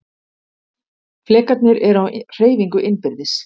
Flekarnir eru á hreyfingu innbyrðis.